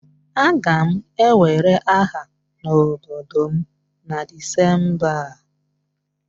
Aga m ewere aha n'obodo m na Disemba a